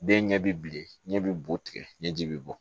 Den ɲɛ bi bilen ɲɛ bɛ bo tigɛ ɲɛ ji bi bɔ